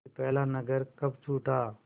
कि पहला नगर कब छूटा